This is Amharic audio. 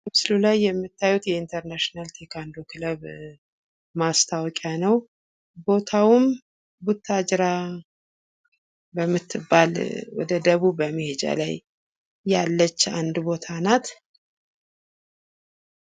በምስሉ ላይ የምታዩት የኢንተርናሽናል ቴኩንዶ ክለብ ማስታወቂያ ነው። ቦታውም ቡታጅራ በምትባል ወደ ደቡብ መሄጃ ላይ ያለች አንድ ቦታ ነች።